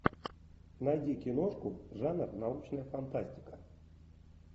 найди киношку жанр научная фантастика